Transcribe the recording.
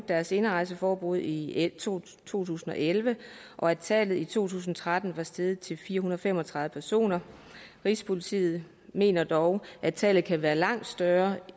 deres indrejseforbud i to tusind og elleve og at tallet i to tusind og tretten var steget til fire hundrede og fem og tredive personer rigspolitiet mener dog at tallet kan være langt større